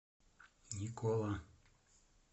никола